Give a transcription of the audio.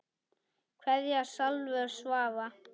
Kveðja Salvör Svava.